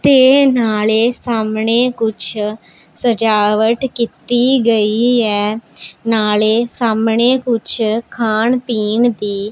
ਤੇ ਨਾਲੇ ਸਾਹਮਣੇ ਕੁਛ ਸਜਾਵਟ ਕੀਤੀ ਗਈ ਐ ਨਾਲੇ ਸਾਹਮਣੇ ਕੁਛ ਖਾਣ ਪੀਣ ਦੀ--